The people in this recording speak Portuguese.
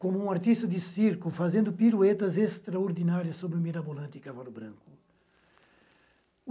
Como um artista de circo, fazendo piruetas extraordinárias sobre o mirabolante cavalo branco.